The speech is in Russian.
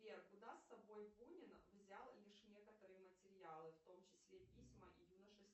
сбер куда с собой бунин взял лишь некоторые материалы в том числе письма и юношеские